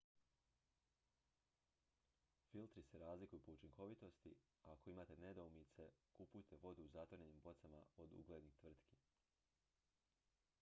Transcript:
filtri se razlikuju po učinkovitosti a ako imate nedoumice kupujte vodu u zatvorenim bocama od uglednih tvrtki